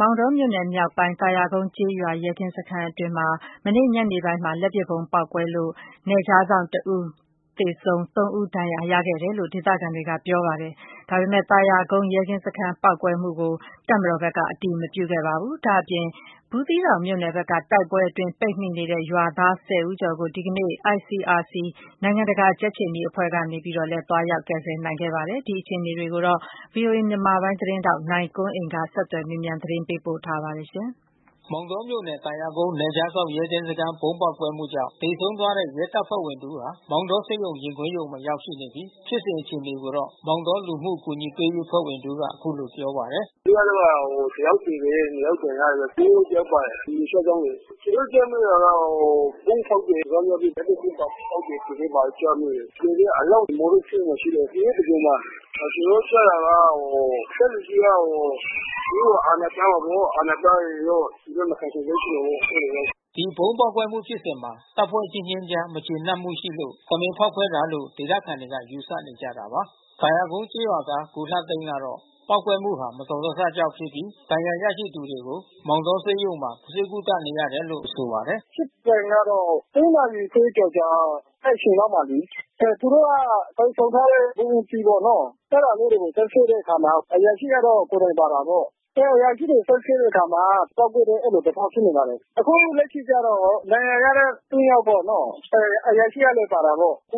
မောင်တောမြို့နယ်မြောက်ပိုင်း သာယာကုန်းကျေးရွာ ရဲကင်းစခန်းအတွင်း မနေ့ညနေပိုင်းမှာ လက် ပစ်ဗုံးပေါက်ကွဲခဲ့တာကြောင့် နယ်ခြားစောင့်တစ်ဦးသေဆုံးပြီး သုံးဦးဒဏ်ရာရရှိခဲ့တယ်လို့ဒေသခံတွေက ပြောပါတယ်။ ဒါပေမဲ့ သာယာကုန်း ရဲကင်းစခန်းပေါက်ကွဲတာကိုတော့ တပ်မတော်ဖက်က အတည်မပြုခဲ့ပါဘူး။ ဒါ့အပြင် ဘူးသီး တောင်မြို့နယ်က တိုက်ပွဲအတွင်း ပိတ်မိနေတဲ့ရွာသား (၁၀)ဦးကျော်ကို ဒီကနေ့ ICRC နိုင်ငံတကာကြက်ခြေနီ အဖွဲ့ကနေ သွားရောက်ကယ်ဆယ်နိုင်ခဲ့ပါတယ်။ ဒီအခြေအနေတွေကိုတော့ ဗွီအိုအေမြန်မာပိုင်းသတင်းထောက် နိုင်ကွန်းအိန်ကနေ ဆက်သွယ်မေးမြန်းသတင်းပေးပို့ထားပါတယ်။။ မောင်တောမြို့နယ် သာယာကုန်း နယ်ခြားစောင့်ရဲကင်းစခန်းဗုံးပေါက်ကွဲမှုကြောင့် သေဆုံးသွားတဲ့ ရဲတပ်ဖွဲ့ဝင် တဦးဟာ မောင်တောဆေးရုံရင်ခွဲရုံမှာရောက်ရှိနေပြီး ဖြစ်စဉ်အခြေအနေကိုတော့ မောင်တော လူမှုအကူညီ ပေးရေးအဖွဲ့ ဝင်တဦးကအခုလိုပြောပါတယ်။ “မနေ့တုန်းက တယောက်သေတယ် နှစ်ယောက်ဒဏ်ရာရတယ်။ ဒုရဲအုပ်တယောက်ပါတယ်။ ဒီနယ်ခြားစောင့်လေ။ ကျွန်တော်တို့ကြားမိတာက ဗုံးဖေါက်တယ် လက်နက်ကြီး စစ်ပစ္စည်းပါ ပေါက်တယ်ဆိုပြီးမှ ကြားမိတယ်။ သေတဲ့အလောင်းကျွန်တော်တို့ဆေးရုံမှာရှိတယ်။ ဒီနေ့သဂြိုလ်မှာ။ ကျွန်တော်တို့ကြားတာက အထက်လူကြီးက သူတို့ကို အာဏာပြတယ်ပေါ့။ အာဏာပြနေလို့ သူတို့မခံချင်လို့ အဲဒီလိုဘဲဖြစ်မှာပေါ့။” ဗုံးပေါက်ကွဲမှုှု ဖြစ်စဉ်မှာ တပ်ဖွဲ့အချင်းချင်းအကြား မကျေနပ်မှုတွေရှိလို့ တမင်ဖေါက်ခွဲတာလို့ ဒေသခံတွေ က ယူဆနေကြတာပါ။ သာယာကုန်းကျေးရွာသား ကိုလှသိန်းကတော့ ပေါက်ကွဲမှုဟာ မတော်တဆကြောင့်ဖြစ်ပြီး ဒဏ်ရာရသူတွေကို မောင်တောဆေးရုံမှာ ဆေးကုသနေရတယ်လို့ ဆိုပါတယ်။ “ဖြစ်စဉ်ကတော့ (၃)နာရီခွဲကျော်ကျော် အဲဒီအချိန်လောက်မှာလေ။ သူတို့ကကိုင်ဆောင်ထားတဲ့ ဗုံးအသီးပေါ့နော်။ အဲတာလေးကိုဆွဲဖြုတ်တဲ့ အခါမှာ အရာရှိကတော့ကိုယ်တိုင် ပါတာပေါ့။ အဲအရာရှိတွေ ဆွဲဖြုတ်တဲ့အခါမှာ ပေါက်ကွဲတယ် အဲဒီသဘောဖြစ်နေပါတယ်။ အခု လက်ရှိကျတော့ဒဏ်ရာရတဲ့(၃)ယောက်ပေါ့နော။ အဲအရာရှိကလဲ ပါတာပေါ့။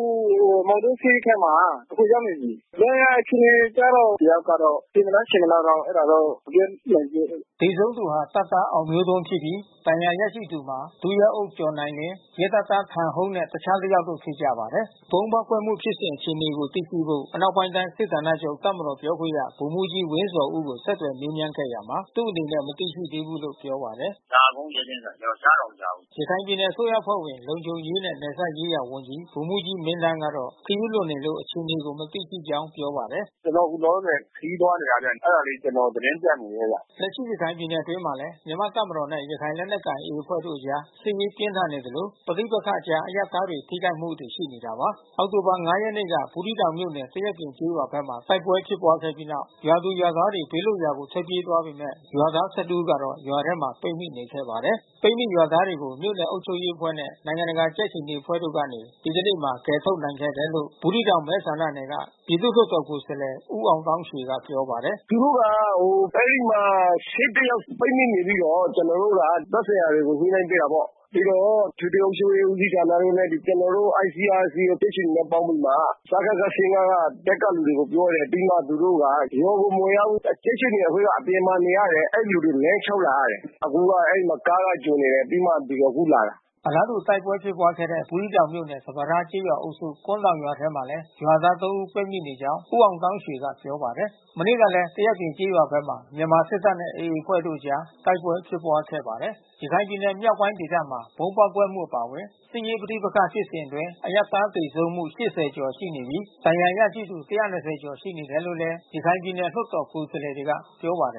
မောင်တော ဆေးခန်းမှာ အခုရောက်နေပြီး။ ဒဏ်ရာအခြေအနေကတော့ တယောက်ကတော့သေမလားရှင်မလား တော့ အဲတာတော့ မပြောနိုင်သေးဘူး။” သေဆုံးသူဟာတပ်သား အောင်မျိုးထွန်းဖြစ်ပြီး ဒဏ်ရာရရှိသူမှာ ဒုရဲအုပ်ကျော်နိုင်လင်း ရဲတပ်သား ထန်ဟုန်း နဲ့အခြားတယောက်တို့ဖြစ်ကြပါတယ်။ ဒီဗုံးဖေါက်ခွဲမှုဖြစ်စဉ်အခြေအနေကိုသိရှိဖို့အနောက်ပိုင်းတိုင်းစစ်ဌာနချုပ်တပ်မတော်ပြောခွင့်ရ ဗိုလ်မှူးကြီး ဝင်းဇော်ဦး ကို ဆက်သွယ်မေးမြန်းခဲ့ရာမှာ သူ့အနေနဲ့မသိရှိသေးဘူးလို့ပြောပါတယ်။ “သာယာကုန်းရဲကင်းဆိုတာ ကျွန်တော်ကြားတောင်မကြားဘူးဘူး။” ရခိုင်ပြည်နယ်အစိုးရအဖွဲ့ဝင် လုံခြုံရေးနဲ့နယ်စပ်ရေးရာဝန်ကြီး ဗိုလ်မှူးကြီးမင်းသန်း ကတော့ ခရီးလွန်နေလို့ အခြေအနေကို မသိရှိကြောင်း ပြောပါတယ်။ “ကျွန်တော်လောလောဆယ် ခရီးသွားနေတာဗျ။ အဲတာလေး ကျွန်တော်သတင်းပြတ် နေတာဗျ။” လက်ရှိရခိုင်ပြည်နယ်အတွင်းမှာလဲ မြန်မာ့တပ်မတော်နဲ့ရခိုင်လက်နက်ကိုင်AAအဖွဲ့တို့အကြား စစ်ရေးပြင်းထန် နေသလို ပဋိပက္ခအကြား အရပ်သားတွေထိခိုက်မှုတွေရှိနေတာပါ။ အောက်တိုဘာလ (၅) ရက်နေ့က ဘူးသီးတောင်မြို့နယ်၊ သရက်ပြင်ကျေးရွာဘက်မှာ တိုက်ပွဲ ဖြစ်ပွားခဲ့ပြီးနောက် ရွာသူ၊ရွာသားတွေ ဘေးလွတ်ရာကို ထွက်ပြေးသွားပေမဲ့ ရွာသား (၁၁) ဦးကတော့ ရွာထဲမှာ ပိတ်မိနေခဲ့ပါတယ်။ ပိတ်မိရွာသားတွေကို မြို့နယ်အုပ်ချုပ်ရေးအဖွဲ့နဲ့ နိုင်ငံတကာကြက်ခြေနီအဖွဲ့က ဒီကနေ့မှာ ကယ်ထုတ်နိုင်ခဲ့တယ် လို့ ဘူးသီးတောင်မဲဆန္ဒနယ်က ပြည်သူ့လွှတ်တော်ကိုယ်စားလှယ် ဦးအောင်သောင်းရွှေက ပြောပါတယ်။ “သူတို့က အဲဒီမှာ(၁၁)ယောက် ပိတ်မိနေပြီးတော့ ကျွန်တော်တို့က သက်ဆိုင်ရာတွေကို ညှိနှိုင်ပေးတယ်ပေါ့။ ပြီးတော့ အထွေထွေအုပ်ချုပ်ရေး ဦးစီးဌာနရုံးနဲ့ ကျွန်တော်တို့ ICRCကြက်ခြေနီနဲ့ ပေါင်းပြီးမှ စကခ(၁၅)က တပ်က လူတွေကို ပြောတယ်။ ပြီးမှ သူတို့က ရွာကို မဝင်ရဘူး။ ကြက်ခြေနီ အဖွဲ့က အပြင်မှာ နေရတယ်။ အဲဒီလူတွေလမ်းလျှောက် လာရတယ်။ အခုကအဲဒီမှာ ကားကကြိုနေတယ်။ ပြီးမှ ဒီမှာအခုလာတာ။” အလားတူတိုက်ပွဲဖြစ်ပွားခဲ့တဲ့ ဘူးသီးတောင်မြို့နယ် စပါးထားကျေးရွာအုပ်စု ကွမ်းတောင်ရွာထဲမှာလဲ ရွာသား(၃)ဦး ပိတ်မိနေကြောင်း ဦးအောင်သောင်းရွှေကပြောပါတယ်။ မနေ့ကလဲ သရက်ပြင် ကျေးရွာဘက်မှာ မြန်မာစစ်တပ်နဲ့AAအဖွဲ့တို့အကြားတိုက်ပွဲဖြစ်ပွားခဲ့ပါတယ်။ ရခိုင်ပြည်နယ်မြောက်ပိုင်းဒေသမှာ ဗုံးပေါက်ကွဲမှုအပါအဝင် စစ်ရေးပဋိပက္ခဖြစ်စဉ်အတွင်း အရပ်သားသေဆုံးမှု (၈၀)ကျော်ရှိနေပြီး ဒဏ်ရာရရှိသူ(၁၂၀)ကျော်ရှိနေတယ်လို့လဲ ရခိုင်ပြည်နယ်လွှတ်တော်ကိုယ်စားလှယ်တွေက ပြောပါတယ်။